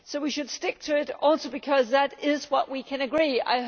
So we should stick to it, partly because that is what we can agree on.